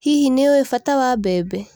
Hihi nĩũĩ bata wa mbembe.